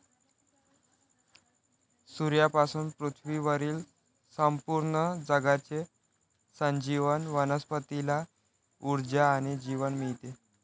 सूर्यापासून पृथ्वीवरील संपूर्ण जगाचे संजीवन वनस्पतीला ऊर्जा आणि जीवन मिळते.